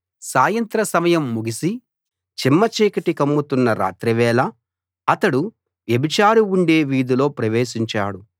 సాయంత్ర సమయం ముగిసి చిమ్మచీకటి కమ్ముతున్న రాత్రివేళ అతడు వ్యభిచారి ఉండే వీధిలో ప్రవేశించాడు